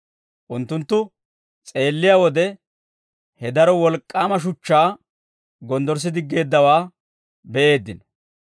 Unttunttu s'eelliyaa wode, he daro wolk'k'aama shuchchaa gonddorssidiggeeddawaa be'eeddino.